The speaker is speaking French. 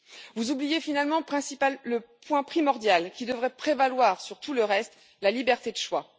Vous oubliez finalement le point primordial qui devrait prévaloir sur tout le reste la liberté de choix.